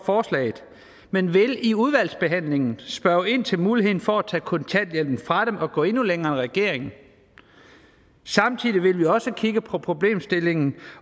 forslaget men vi vil i udvalgsbehandlingen spørge ind til muligheden for at tage kontanthjælpen fra dem og gå endnu længere end regeringen samtidig vil vi også kigge på problemstillingen